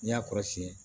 N'i y'a kɔrɔsiyɛn